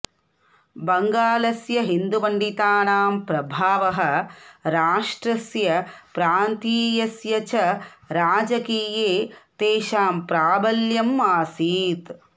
बङ्गालस्य हिन्दुपण्डितानां प्रभावः राष्ट्रस्य प्रान्तीयस्य च राजकीये तेषां प्राबल्यम् आसीत्